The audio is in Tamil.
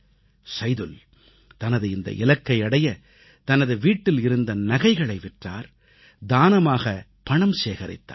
சைதுல் தனது இந்த இலக்கை அடைய தனது வீட்டில் இருந்த நகைகளை விற்றார் தானமாகப் பணம் சேகரித்தார்